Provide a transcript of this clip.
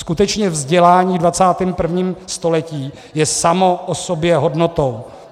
Skutečně vzdělání v 21. století je samo o sobě hodnotou.